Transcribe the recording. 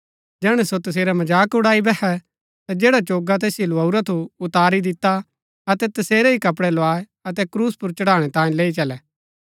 जैहणै सो तसेरा मजाक उड़ाई बैहै ता जैडा चोगा तैसिओ लुआऊरा थु उतारी दिता अतै तसेरै ही कपड़ै लुआऐ अतै क्रूस पुर चढ़ाणै तांयें लैई चलै